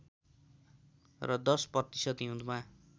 र १० प्रतिशत हिउँदमा